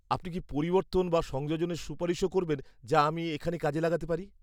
আপনি কি পরিবর্তন বা সংযোজনের সুপারিশও করবেন যা আমি আমি এখানে কাজে লাগাতে পারি?